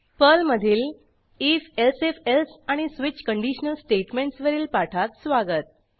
पर्लमधील if elsif else आणि switch conditional statements वरील पाठात स्वागत